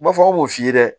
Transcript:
U b'a fɔ aw b'o f'i ye